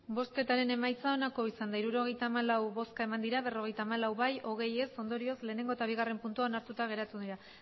emandako botoak hirurogeita hamalau bai berrogeita hamalau ez hogei ondorioz batgarrena eta bigarrena puntuak onartuta geratu dira